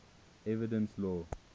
evidence law